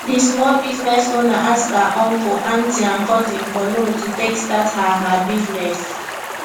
di small business owner ask her uncle aunty and cousin for loan to take start her her business